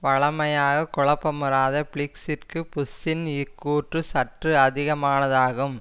வழமையாக குழப்பமுறாத பிளிக்ஸ் இற்கு புஷ்ஷின் இக்கூற்று சற்று அதிகமானதாகும்